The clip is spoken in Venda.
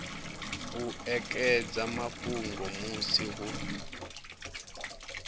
u ekedza mafhungo musi hu